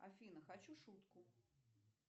афина хочу шутку